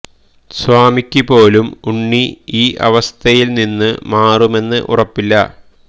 സ്വാമിക്ക് പോലും ഉണ്ണി ഈ അവസ്ഥയിൽ നിന്നു മാറുമെന്ന് ഉറപ്പില്ല